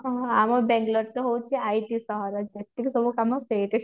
ଉଁ ଆମ ବାଙ୍ଗେଲୋର ତ ହାଉଛି ଆମର IT ସହର ସେତିକି ସବୁ କାମ ସେଇଠି